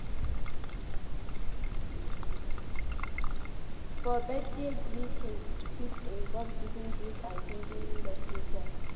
For birthday greeting fit involve giving gifts and singing birthday songs